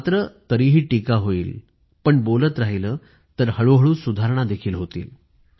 मात्र तरीही टीका होईल मात्र बोलत राहिलं तर हळूहळू सुधारणा देखील होतील